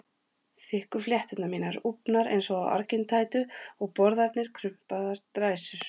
Þykku flétturnar mínar úfnar eins og á argintætu og borðarnir krumpaðar dræsur.